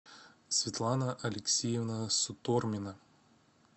светлана алексеевна сутормина